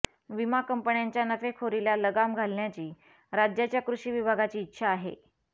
विमा कंपन्यांच्या नफेखोरीला लगाम घालण्याची राज्याच्या कृषी विभागाची इच्छा आहे